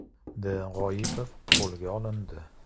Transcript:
D. G‘oipov qo‘lga olindi.